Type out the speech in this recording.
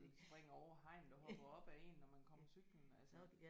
Når de springer over hegnet og hopper op ad en når man kommer cyklende altså